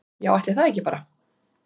Já ætli það ekki bara.